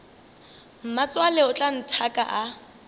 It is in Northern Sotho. mmatswale o tla nthaka a